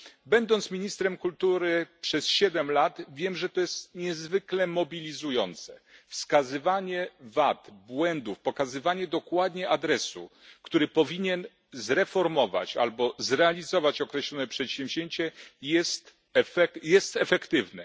Byłem ministrem kultury przez siedem lat i wiem, że to jest niezwykle mobilizujące wskazywanie wad, błędów, pokazywanie dokładnie adresu, który powinien zreformować albo zrealizować określone przedsięwzięcie, jest efektywne.